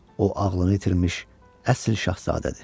O ağlını itirmiş əsl şahzadədir.